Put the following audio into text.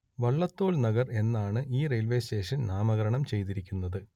വള്ളത്തോൾ നഗർ എന്നാണ് ഈ railway station നാമകരണം ചെയ്തിരിക്കുന്നത്